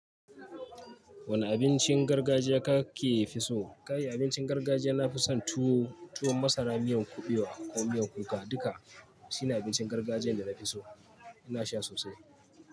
Wane abincin gargajiya kake fi so? Ka yi abincin gargajiya, na fi son tuwo, tuwon masara, miyan kuɓewa ko miyan kuka. Duka su ne abincin gargajiyan da na fi so. Ina sha sosai.